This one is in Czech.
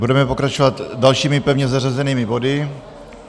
Budeme pokračovat dalšími pevně zařazenými body.